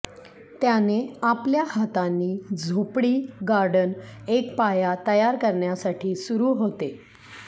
त्याने आपल्या हातांनी झोपडी गार्डन एक पाया तयार करण्यासाठी सुरु होते